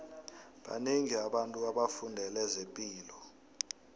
banengi abantu abafundele zepilo